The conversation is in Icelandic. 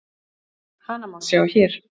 Hana má sjá hér.